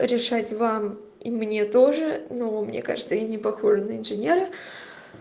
решать вам и мне тоже но мне кажется я не похожа на инженера